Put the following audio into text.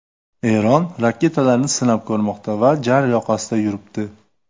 Eron raketalarni sinab ko‘rmoqda va jar yoqasida yuribdi.